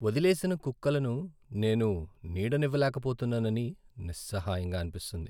వదిలేసిన కుక్కలను నేను నీడనివ్వలేకపోతున్నానని నిస్సహాయంగా అనిపిస్తుంది.